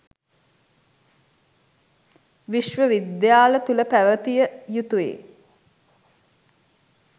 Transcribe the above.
විශ්ව විද්‍යාල තුළ පැවතිය යුතුයි.